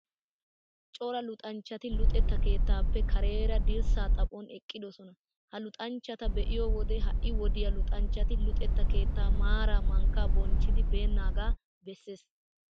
Cora luxanchchati luxetta keettaappe kareera dirssaa xaphon eqqidoosona. Ha luxanchchata be'iyoo wode, ha'i wodiyaa luxanchchati luxetta keettaa maaraa mankkaa bonchchennaagaa bessees.